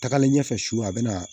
Tagalen ɲɛfɛ su a bɛna